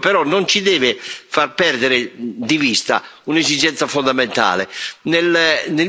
Ora, tutto questo però non ci deve far perdere di vista un'esigenza fondamentale.